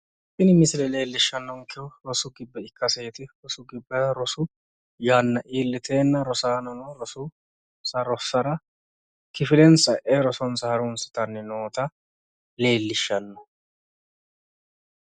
Tini misile leellishanonkehu rosu gibbe ikkaseeti rosu gibbera rosu yanna iilliteenna rosaanono rosonsa rossara rosonsa kifilensa e'e harunsitanni noota leellishanno.